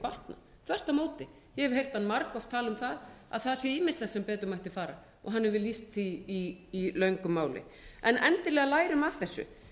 batna þvert á móti ég hef heyrt hann margoft tala það að það sé ýmislegt sem betur mætti fara og hann hefur lýst því í löngu máli endilega lærum af þessu